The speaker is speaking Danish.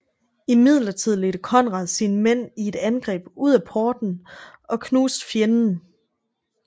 Imidlertid ledte Konrad sine mænd i et angreb ud af portene og knuste fienden